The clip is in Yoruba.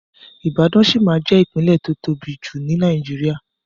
Ibàdàn ṣí ma jẹ́ ìpínlẹ̀ tó tóbi jù ní Nàìjíría.